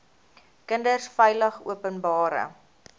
kinders veilig openbare